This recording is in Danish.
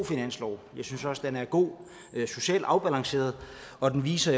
finanslov jeg synes også den er god socialt afbalanceret og den viser